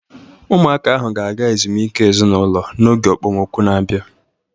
Ụmụaka ahu ga-aga ezumike ezinụlọ n'oge okpomọkụ na-abịa.